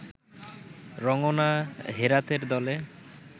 রঙ্গনা হেরাথের দলে